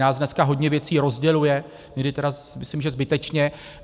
Nás dneska hodně věcí rozděluje, někdy tedy myslím že zbytečně.